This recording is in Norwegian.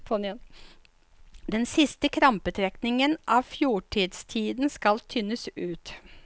Den siste krampetrekningen av fjortistiden skal tynes ut.